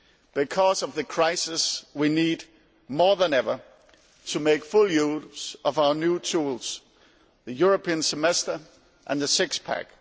Because of the crisis we need more than ever to make full use of our new tools the European Semester and the six pack.